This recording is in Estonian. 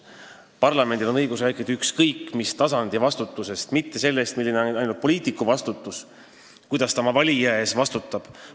Parlamendil on õigus rääkida ükskõik mis tasandi vastutusest – mitte ainult sellest, milline on poliitiku vastutus, kuidas ta oma valija ees vastutab.